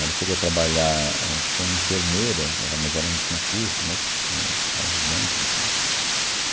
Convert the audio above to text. Ela chegou a trabalhar éh como enfermeira, ela mas ela não tinha curso, mas ãh ajudante, enfim.